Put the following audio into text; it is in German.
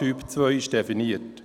Typ 2 ist definiert.